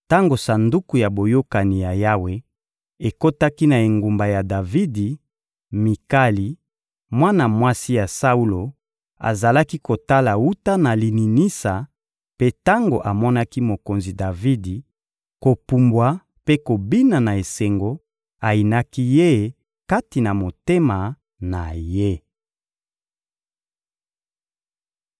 Tango Sanduku ya Boyokani ya Yawe ekotaki na engumba ya Davidi, Mikali, mwana mwasi ya Saulo, azalaki kotala wuta na lininisa; mpe tango amonaki mokonzi Davidi kopumbwa mpe kobina na esengo, ayinaki ye kati na motema na ye.